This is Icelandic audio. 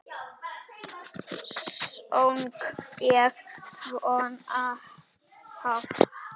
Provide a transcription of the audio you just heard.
Söng ég svona hátt?